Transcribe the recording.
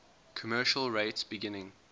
commercial rates beginning